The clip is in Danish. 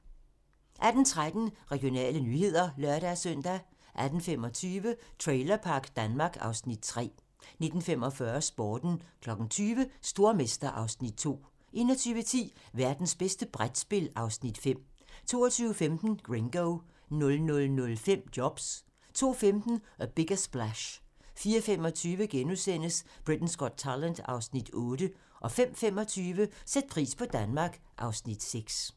18:13: Regionale nyheder (lør-søn) 18:25: Trailerpark Danmark (Afs. 3) 19:45: Sporten 20:00: Stormester (Afs. 2) 21:10: Værtens bedste brætspil (Afs. 5) 22:15: Gringo 00:05: Jobs 02:15: A Bigger Splash 04:25: Britain's Got Talent (Afs. 8)* 05:25: Sæt pris på Danmark (Afs. 6)